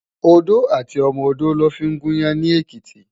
Odó àti ọmọ odó lò fin gún iyàn ni Ekiti